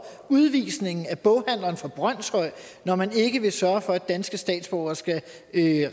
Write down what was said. udvisningen af boghandleren fra brønshøj når man ikke vil sørge for at danske statsborgere skal